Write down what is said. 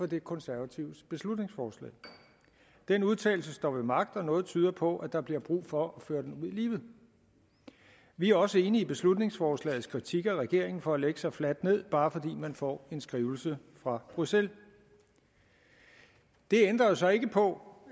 de konservatives beslutningsforslag den udtalelse står ved magt og noget tyder på at der bliver brug for at føre den ud i livet vi er også enige i beslutningsforslagets kritik af regeringen for at lægge sig fladt ned bare fordi man får en skrivelse fra bruxelles det ændrer jo så ikke på